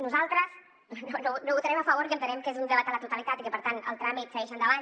nosaltres no votarem a favor i entenem que és un debat a la totalitat i que per tant el tràmit segueix endavant